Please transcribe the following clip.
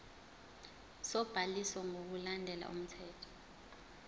sobhaliso ngokulandela umthetho